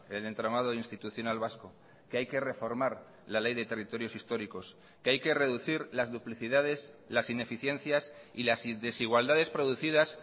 el entramado institucional vasco que hay que reformar la ley de territorios históricos que hay que reducir las duplicidades las ineficiencias y las desigualdades producidas